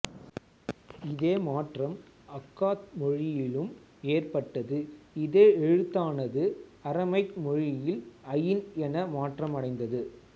இதே மாற்றம் அக்காத் மொழியுலும் ஏற்பட்டது இதே எழுத்தானது அறமைக் மொழியில் அயின் என மாற்றமடைந்தது